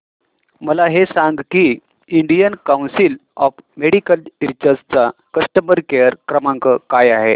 मला हे सांग की Indian Council of Medical Research चा कस्टमर केअर क्रमांक काय आहे